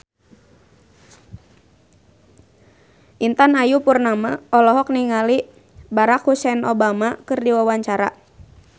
Intan Ayu Purnama olohok ningali Barack Hussein Obama keur diwawancara